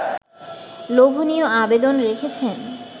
লোভনীয় আবেদন রেখেছেন